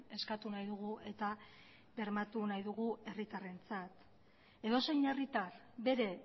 eskatu nahi dugu eta bermatu nahi dugu herritarrentzat edozein herritar bere